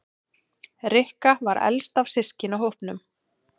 Rikka var elst af systkinahópnum.